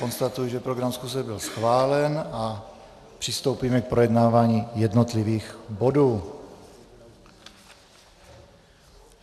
Konstatuji, že program schůze byl schválen, a přistoupíme k projednávání jednotlivých bodů.